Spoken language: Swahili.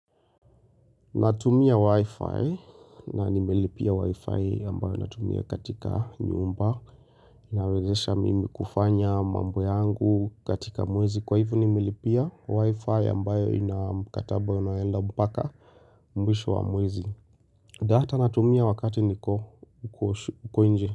Natumia wi-fi na nimelipia wi-fi ambayo natumia katika nyumba inawezesha mimi kufanya mambo yangu katika mwezi Kwa hivo nimelipia wi-fi ambayo ina mkataba unayoenda mpaka mwisho wa mwezi data natumia wakati niko uko nje.